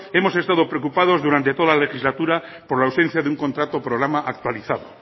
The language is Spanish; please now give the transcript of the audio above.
hemos estado preocupados durante toda la legislatura por la ausencia de un contrato programa actualizado